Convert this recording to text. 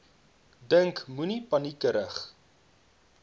dink moenie paniekerig